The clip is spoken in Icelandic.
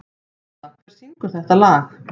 Þrúða, hver syngur þetta lag?